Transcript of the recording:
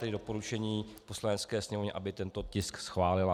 Tedy doporučení Poslanecké sněmovně, aby tento tisk schválila.